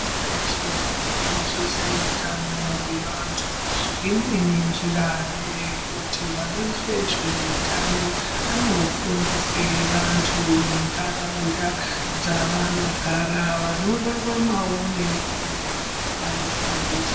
Pashi reshe rino koshese utano hwe vantu imweni njira nge yekuti vano ite zve utano ano fundise vantu mu ndaraunda dza vano gara vano raramawo ne urema vano fundiswa.